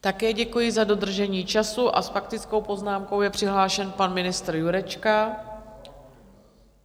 Také děkuji za dodržení času, a s faktickou poznámkou je přihlášen pan ministr Jurečka.